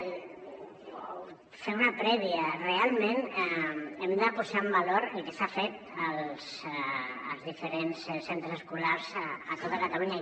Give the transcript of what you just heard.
o fer una prèvia realment hem de posar en valor el que s’ha fet als diferents centres escolars a tota catalunya